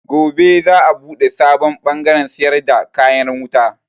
Gobe za a buɗe sabon bangaren siyar da kayan wuta.